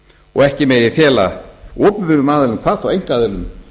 og ekki megi fela opinberum aðilum hvað þá einkaaðilum